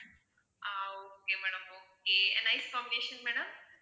ah okay madam okay and nice combination madam